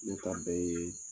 Ne a bɛɛ ye